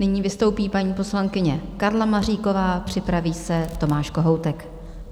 Nyní vystoupí paní poslankyně Karla Maříková, připraví se Tomáš Kohoutek.